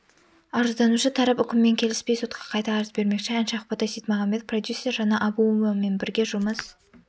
арызданушы тарап үкіммен келіспей сотқа қайта арыз бермекші әнші ақбота сейітмағамбет продюсер жанна абуовамен бірге жұмыс